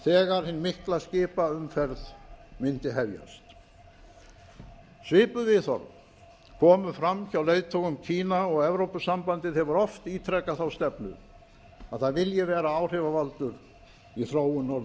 þegar hin mikla skipaumferð mundi hefjast svipuð viðhorf komu fram hjá leiðtogum kína og evrópusambandið hefur oft ítrekað þá stefnu að það vilji vera áhrifavaldur í þróun